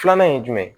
Filanan ye jumɛn ye